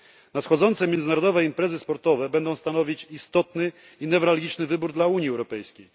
Nadchodzące międzynarodowe imprezy sportowe będą stanowić istotny i newralgiczny wybór dla Unii Europejskiej.